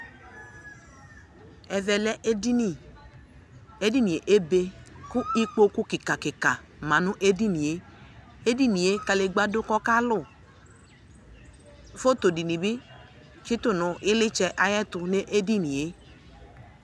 ɛvɛ lɛ edini, edinie be ko ikpoku kika kika ma no edinie edinie kadegba do ko ɔkalu, foto di ni bi tsito no ilitsɛ ayɛto no edinie